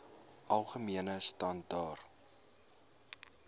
algemene standaar